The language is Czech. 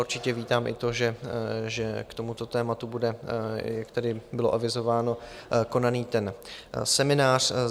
Určitě vítám i to, že k tomuto tématu bude, jak tady bylo avizováno, konaný ten seminář.